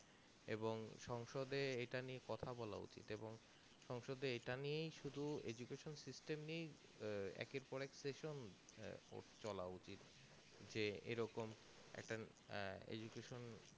এবং সংসদে এইটা নিয়ে কথা বলা উচিত এবং সংসদে এইটাই নিয়ে শুধু eduction system নিয়েই আহ একের পর এক session চলা উচিত যে এরকম একটা আহ eduction system